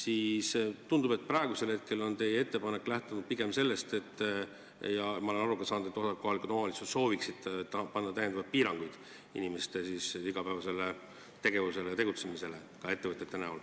Aga ma olen aru saanud, et osa kohalikke omavalitsusi sooviks panna inimeste igapäevasele tegevusele, ka ettevõtete tegutsemisele lisapiiranguid, ja ka teie ettepanek praegu lähtub pigem sellest.